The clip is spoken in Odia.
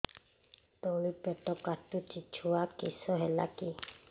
ତଳିପେଟ କାଟୁଚି ଛୁଆ କିଶ ହେଲା କି